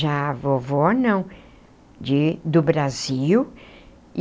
Já a vovó não, de do Brasil.